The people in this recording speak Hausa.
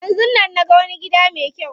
Yanzun nan naga wani gida me kyau.